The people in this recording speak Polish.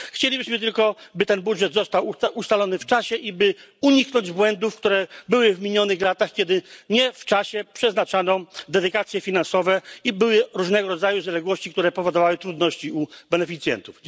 Chcielibyśmy tylko, by ten budżet został ustalony w czasie i by uniknąć błędów z minionych lat, kiedy nie w czasie przeznaczano dedykacje finansowe i były różnego rodzaju zaległości, które powodowały trudności u beneficjentów.